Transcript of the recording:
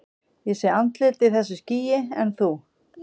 Ég sé andlit í þessu skýi, en þú?